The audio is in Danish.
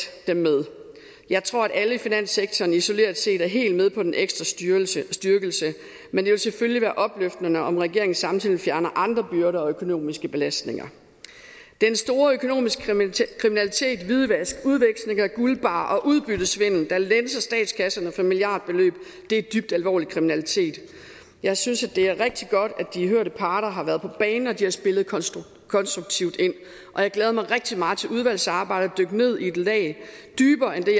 dem med jeg tror at alle i finanssektoren isoleret set er helt med på den ekstra styrkelse styrkelse men det vil selvfølgelig være opløftende om regeringen samtidig fjerner andre byrder og økonomiske belastninger den store økonomiske kriminalitet hvidvask udveksling af guldbarrer og udbyttesvindel der lænser statskasserne for milliardbeløb er dybt alvorlig kriminalitet jeg synes det er rigtig godt at de hørte parter har været på banen og at de har spillet konstruktivt ind og jeg glæder mig rigtig meget til udvalgsarbejdet ned i et lag dybere end det